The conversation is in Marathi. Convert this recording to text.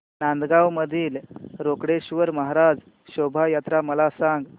नांदगाव मधील रोकडेश्वर महाराज शोभा यात्रा मला सांग